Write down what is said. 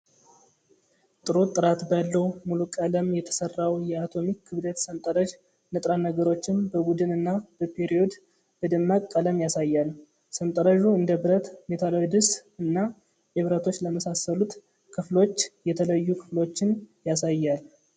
ጥሩ ጥራት ባለው ሙሉ ቀለም የተሰራው የአቶሚክ ክብደት ሰንጠረዥ፣ ንጥረ ነገሮችን በቡድን እና በፔሪዮድ በደማቅ ቀለም ያሳያል። ሰንጠረዡ እንደ ብረት፣ ሜታሎይድስ እና ኢብረቶች ለመሳሰሉት ክፍሎች የተለዩ ክፍሎችን ያሳያል።